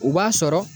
U b'a sɔrɔ